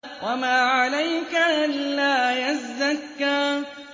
وَمَا عَلَيْكَ أَلَّا يَزَّكَّىٰ